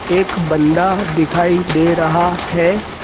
एक बंदा दिखाई दे रहा है।